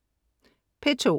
P2: